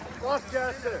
Qaç gəlsin.